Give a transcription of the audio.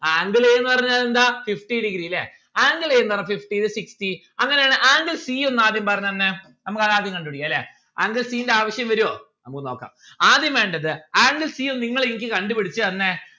angle a ന്ന്‌ പറഞ്ഞാൽ എന്താ fifty degree ല്ലേ angle a ന്ന്‌ പറഞ്ഞാൽ fifty sixty അങ്ങനെ ആണേൽ angle c ഒന്ന് ആദ്യം പറഞ്ഞന്നേ നമ്മുക്ക് അത് ആദ്യം കണ്ടു പിടിക്കാ ല്ലേ angle c ന്റെ ആവശ്യം വരോ നമ്മുക്ക് നോക്കാം ആദ്യം വേണ്ടത് angle c ഒന്ന് നിങ്ങൾ എനിക്ക് കണ്ടു പിടിച്ച് തന്നെ